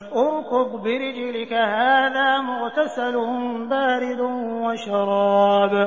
ارْكُضْ بِرِجْلِكَ ۖ هَٰذَا مُغْتَسَلٌ بَارِدٌ وَشَرَابٌ